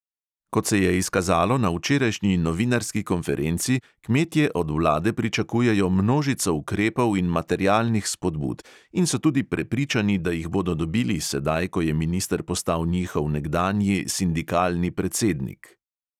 Kot se je izkazalo na včerajšnji novinarski konferenci, kmetje od vlade pričakujejo množico ukrepov in materialnih spodbud in so tudi prepričani, da jih bodo dobili sedaj, ko je minister postal njihov nekdanji sindikalni predsednik.